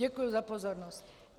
Děkuji za pozornost.